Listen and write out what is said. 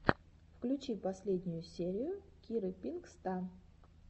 включи последнюю серию киры пинк ста